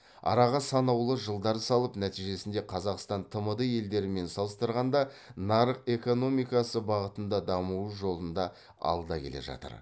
араға санаулы жылдар салып нәтижесінде қазақстан тмд елдерімен салыстырғанда нарық экономикасы бағытында дамуы жолында алда келе жатыр